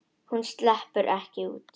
Hún sleppur ekki út.